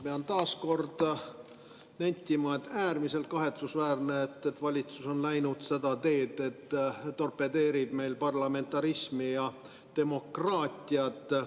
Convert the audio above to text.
Ma pean taas nentima, et on äärmiselt kahetsusväärne, et valitsus on läinud seda teed, torpedeerides parlamentarismi ja demokraatiat.